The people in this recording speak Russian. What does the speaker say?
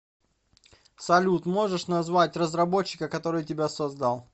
салют можешь назвать разработчика который тебя создал